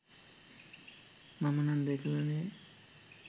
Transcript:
මම නම් දැකලා නෑ